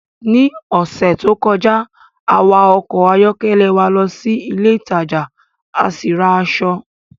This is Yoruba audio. Ní ọ̀sẹ̀ tó kọjá, a wa ọkọ̀ ayọ́kẹ́lẹ́ wa lọ sí ilé ìtajà a sì ra aṣọ